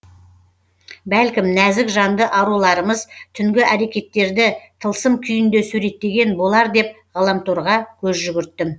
бәлкім нәзік жанды аруларымыз түнгі әрекеттерді тылсым күйінде суреттеген болар деп ғаламторға көз жүгірттім